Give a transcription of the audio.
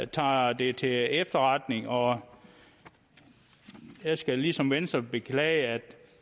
tager det til efterretning og jeg skal ligesom venstre beklage at